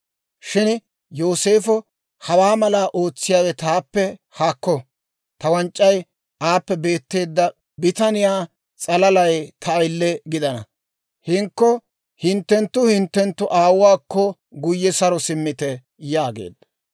Shin Yooseefo, «Hawaa malaa ootsiyaawe taappe haakko; ta wanc'c'ay aappe beetteedda bitaniyaa s'alalay ta ayile gidana. Hinkko hinttenttu hinttenttu aawuwaakko guyye saro simmite» yaageedda.